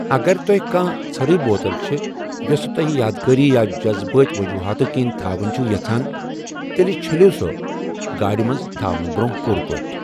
اگر تۄہہِ کانٛہہ ژٔھرٕے بوتل چھ، یۄسہٕ توہِہ یادگاری یا جذبٲتۍ ؤجوٗہاتو کِنۍ تھاوٕنۍ چُھو یَژھان، تیٚلہِ چھیٚلِو سۄ گاڑِ منٛز تھاونہٕ برٛونٛہہ پوٗرٕ پٲٹھۍ ۔